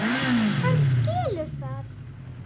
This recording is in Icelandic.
Hann skilur það.